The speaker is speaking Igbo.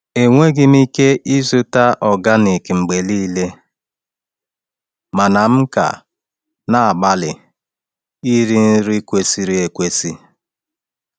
Enweghị m ike ịzụta organic mgbe niile, mana m ka na-agbalị iri nri kwesịrị ekwesị.